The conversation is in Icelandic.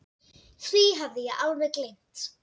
Því hafði ég alveg gleymt.